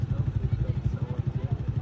Sağ tərəfdən söhbət gedir.